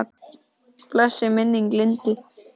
Blessuð sé minning Lindu.